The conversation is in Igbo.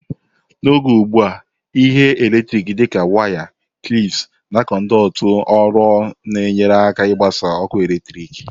N'oge ugbu a, ihe eletriki dị ka wires, clips, na conduit ọrụ na-enyere aka ịgbasa ọkụ eletrik.